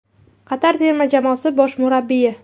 Qatar terma jamoasi bosh murabbiyi.